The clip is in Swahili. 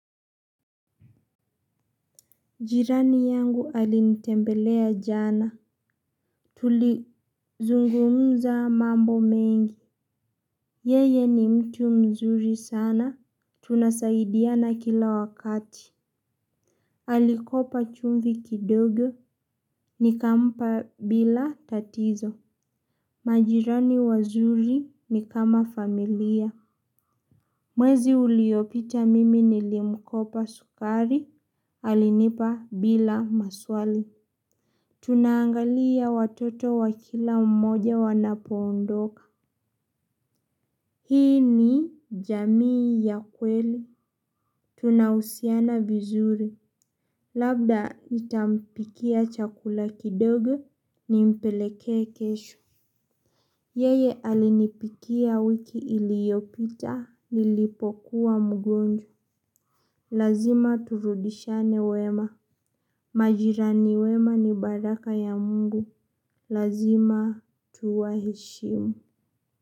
Jirani yangu alinitembelea jana. Tulizungumza mambo mengi. Yeye ni mtu mzuri sana. Tunasaidiana kila wakati. Alikopa chumvi kidogo. Nikampa bila tatizo. Majirani wazuri ni kama familia. Mwezi uliopita mimi nilimkopa sukari. Alinipa bila maswali. Tunangalia watoto wa kila mmoja wanapoondoka. Hii ni jamii ya kweli. Tunahusiana vizuri. Labda nitampikia chakula kidogo nimpelekee kesho. Yeye alinipikia wiki iliyopita nilipokuwa mgonjwa. Lazima turudishiane wema. Majirani wema ni baraka ya mungu. Lazima tuwaheshimu.